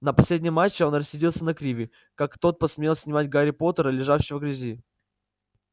на последнем матче он рассердился на криви как тот посмел снимать гарри поттера лежащего в грязи